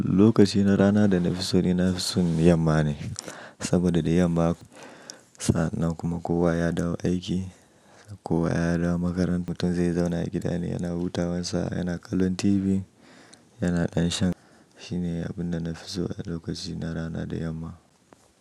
Lokaci na rana da na fi so ni na fi son yamma ne, saboda da yamma sa'anan kuma kowa ya dawo aiki, kowa ya dawo makaranta, mutum zai zauna gida ne yana wuta wassa, yana kallon TV, yana ɗan shan. Shi ne abin da na fi so, a lokaci na rana da yamma.